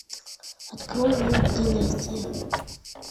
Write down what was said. открой мульт династия